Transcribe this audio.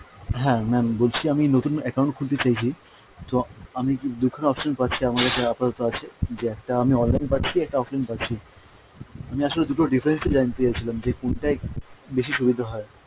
হ্যাঁ ma'am বলছি আমি নতুন account খুলতে চাইছি তো আমি দু'খানা option পাচ্ছি আমার কাছে আপাতত আছে যে একটা আমি online পাচ্ছি offlineপাচ্ছি, আমি আসলে দুটোর difference টা জানতে চাচ্ছিলাম যে কোনটায় বেশি সুবিধা হয়।